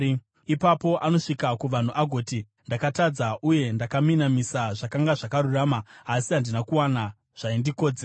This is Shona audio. Ipapo anosvika kuvanhu agoti, ‘Ndakatadza, uye ndakaminamisa zvakanga zvakarurama, asi handina kuwana zvaindikodzera.